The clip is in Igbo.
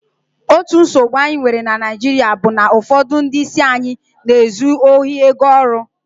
otu nsogbu anyi nwere na naijiria bu na ufodu ndi isi anyi n'ezu ohi ego oru